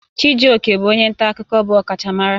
Chijioke bụ onye nta akụkọ bụ ọkachamara